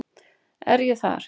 Er ég þar?